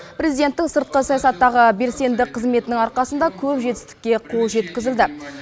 президенттің сыртқы саясаттағы белсенді қызметінің арқасында көп жетістікке қол жеткізілді